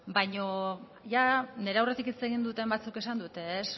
baina nire aurretik hitz egin duten batzuk esan dute